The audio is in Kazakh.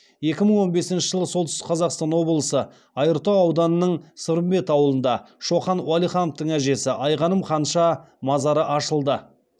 екі мың он бесінші жылы солтүстік қазақстан облысы айыртау ауданының сырымбет ауылында шоқан уәлихановтың әжесі айғаным ханша мазары ашылды